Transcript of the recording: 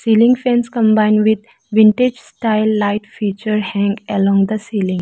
ceiling fans combined with vintage style light feature hang along the ceiling.